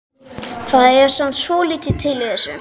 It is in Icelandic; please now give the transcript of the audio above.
Það er samt svolítið til í þessu.